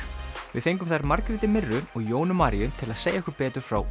við fengum þær Margréti mirru og Jónu Maríu til að segja okkur betur frá